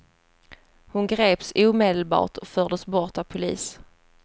Hon greps omedelbart och fördes bort av polis.